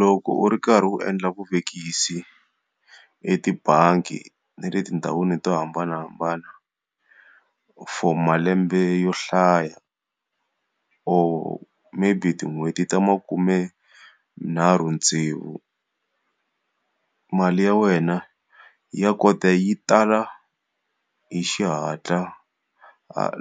Loko u ri karhi u endla vuvekisi etibangi ni le tindhawini to hambanahambana for malembe yo hlaya, or maybe tin'hweti ta makume nharhu tsevu. Mali ya wena ya kota yi tala hi xihatla